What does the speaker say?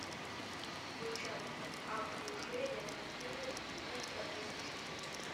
включай а в душе я танцую ультра эйч ди